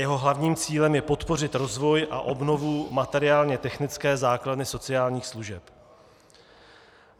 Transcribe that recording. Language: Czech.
Jeho hlavním cílem je podpořit rozvoj a obnovu materiálně technické základny sociálních služeb.